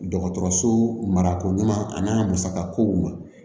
Dɔgɔtɔrɔso marako ɲuman ani musakakow ma